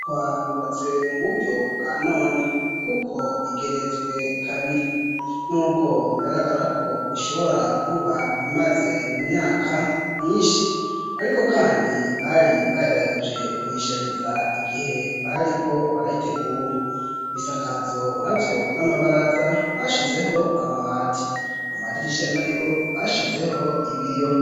Inyubakwa yubatse mu buryo bwa none kuko igeretswe kabiri nubwo bigaragara ko ishobora kuba imaze imyaka myinshi ariko kandi bari bagerageje kuyishariza igihe bariko barayitegura ibisakazo na vyo n'amabaraza bashizeho amabati amadirisha na yo bashizeho ibiyo.